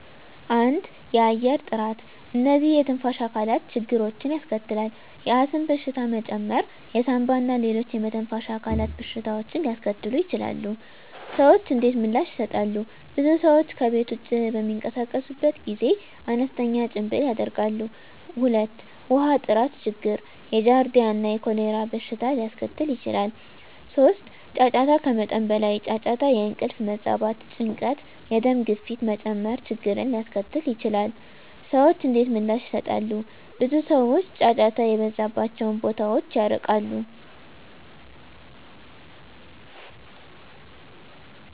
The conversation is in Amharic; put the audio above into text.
1. የአየር ጥራት *እነዚህ የትንፋሽ አካላት ችግሮችን ያስከትላል፣ የአስም በሽታ መጨመር የሳንባ እና ሌሎች የመተንፈሻ አካላት በሽታዎችን ሊያስከትሉ ይችላሉ። **ሰዎች እንዴት ምላሽ ይሰጣሉ? *ብዙ ሰዎች ከቤት ውጭ በሚንቀሳቀሱበት ጊዜ አነስተኛ ጭምብል ያደርጋሉ። 2. ውሃ ጥራት ችግር የጃርዲያ እና የኮሌራ በሽታ ሊያስከትል ይችላል። 3. ጫጫታ ከመጠን በላይ ጫጫታ የእንቅልፍ መዛባት፣ ጭንቀት፣ የደም ግፊት መጨመር ችግርን ሊያስከትል ይችላል። *ሰዎች እንዴት ምላሽ ይሰጣሉ? ብዙ ሰዎች ጫጫታ የበዛባቸውን ቦታዎች ይርቃሉ።